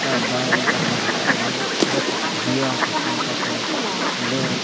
ఎంత బాగుంటది అన్నమాట ఇదేదో చూడొచ్చు జియో ఆఫీస్ పక్కన ఏదో.